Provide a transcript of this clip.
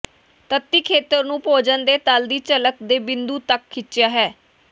ਤੱਟੀ ਖੇਤਰ ਨੂੰ ਭੋਜਨ ਦੇ ਤਲ ਦੀ ਝਲਕ ਦੇ ਬਿੰਦੂ ਤੱਕ ਖਿੱਚਿਆ ਹੈ